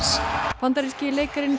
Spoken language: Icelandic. bandaríski leikarinn